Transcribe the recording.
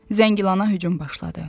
Zəngilana hücum başladı.